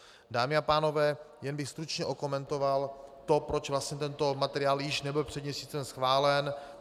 Dámy a pánové, jen bych stručně okomentoval to, proč vlastně tento materiál nebyl již před měsícem schválen.